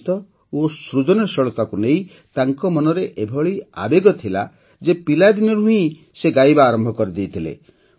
ସଙ୍ଗୀତ ଓ ସୃଜନଶୀଳତାକୁ ନେଇ ତାଙ୍କ ମନରେ ଏଭଳି ଆବେଗ ଥିଲା ଯେ ପିଲାଦିନରୁ ହିଁ ସେ ଗାଇବା ଆରମ୍ଭ କରିଦେଇଥିଲେ